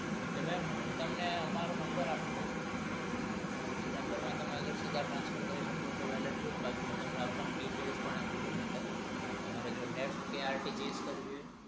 એટલે mem હું તમને અમારો number આપી દઉં એ number માં સીધા transfer કરી શકો તો ઠોક નહીતર હું તમને account details પણ આપી દઉં